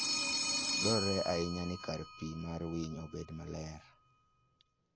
Dwarore ahinya ni kar pii mar winy obedi maler .